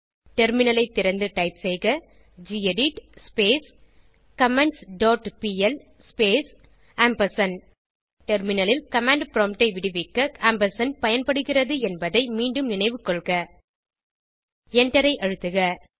டெர்மினலை திறந்து டைப் செய்க gedit comments dot pl space டெர்மினலில் கமாண்ட் ப்ராம்ப்ட் ஐ விடுவிக்க ஆம்பர்சாண்ட் பயன்படுகிறது என்பதை மீண்டும் நினைவுகொள்க எண்டரை அழுத்துக